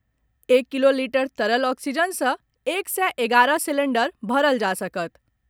एक kilo litre तरल oxygen सँ एक सय एगारह सिलेंडर भरल जा सकत।